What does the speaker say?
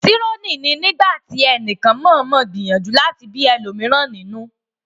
trolling ní nígbàtí ẹnìkan mọọmọ gbìyànjú láti bí ẹlòmíràn nínú